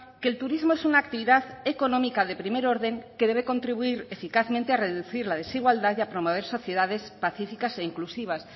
que el turismo es una actividad económica de primer orden que debe contribuir eficazmente a reducir la desigualdad y a promover sociedades pacíficas e inclusivas